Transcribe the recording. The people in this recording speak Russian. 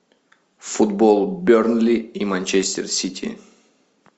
футбол бернли и манчестер сити